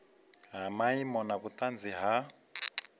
ha maimo na vhunzani ha